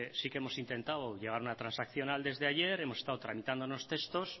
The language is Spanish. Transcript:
sí que hemos intentado llegar a una transaccional desde ayer hemos estado tramitando unos textos